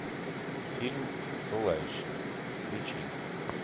фильм пылающий включи